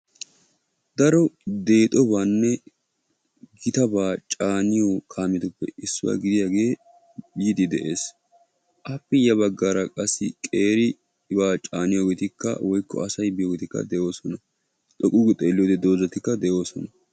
daro deexobaanne gitabaa caaniyo kaametuppe issuwaa gidida kaamee yiidii de'ees. appe ya bagaara qassi caanetida hareti issippe de'oosona.